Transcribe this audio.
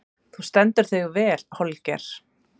Þú stendur þig vel, Holger!